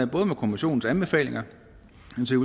både med kommissionens anbefalinger